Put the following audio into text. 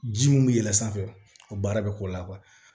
Ji mun bɛ yɛlɛn sanfɛ o baara bɛ k'o la